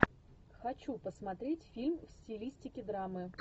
хочу посмотреть фильм в стилистике драмы